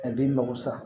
A den mago sa